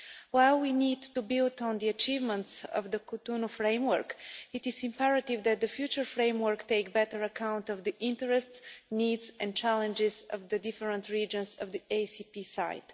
While we need to build on the achievements of the Cotonou framework, it is imperative that the future framework take better account of the interests, needs and challenges of the different regions on the ACP side.